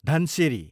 Dhansiri